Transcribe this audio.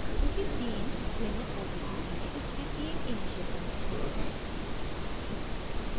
चूँकि तीन भिन्न odes हैं इसलिए तीन इनिशियल कंडीशंस हैं